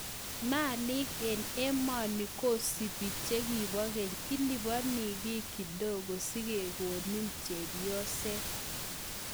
Maliik eng emoni kosupi chekibo keny..ilipani kiy kidogo sikekonin chepyoset